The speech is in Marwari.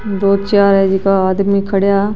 दो चार है जीका आदमी खड़िया --